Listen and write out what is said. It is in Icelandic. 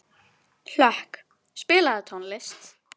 Hlökk, spilaðu tónlist.